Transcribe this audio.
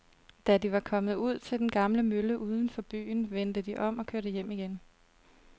Da de var kommet ud til den gamle mølle uden for byen, vendte de om og kørte hjem igen.